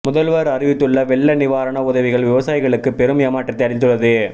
முதல்வர் அறிவித்துள்ள வெள்ள நிவாரண உதவிகள் விவசாயிகளுக்கு பெரும் ஏமாற்றத்தை அளித்துள்ளது